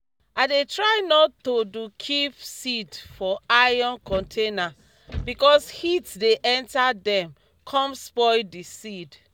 i dey try nor to do keep seed for iron container because heat dey enter dem com spoil di seed.